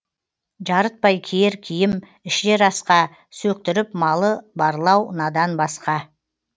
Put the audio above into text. жарытпай киер киім ішер асқа сөктіріп малы барлау надан насқа